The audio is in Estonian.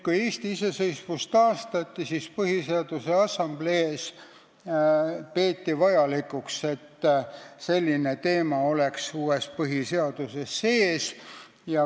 Kui Eesti iseseisvus taastati, siis peeti Põhiseaduse Assamblees vajalikuks, et see teema oleks uues põhiseaduses sees.